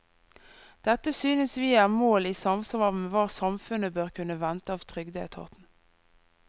Dette synes vi er mål i samsvar med hva samfunnet bør kunne vente av trygdeetaten.